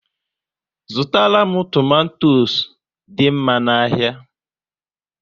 Zụtara m tomato dị mma n'ahia